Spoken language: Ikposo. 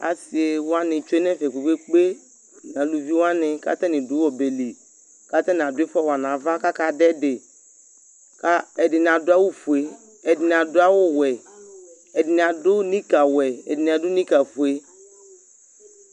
Asɩ wanɩ tsue nʋ ɛfɛ kpe-kpe-kpe nʋ aluvi wanɩ kʋ atanɩ dʋ ɔbɛ li kʋ atanɩ adʋ ɩfɔ wa nʋ ava kʋ akadʋ ɛdɩ kʋ ɛdɩnɩ adʋ awʋfue, ɛdɩnɩ adʋ awʋwɛ, ɛdɩnɩ adʋ nikawɛ, ɛdɩnɩ adʋ nikafue